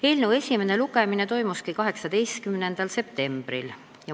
Eelnõu esimene lugemine toimuski 18. septembril.